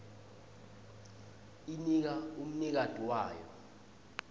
inika umnikati wayo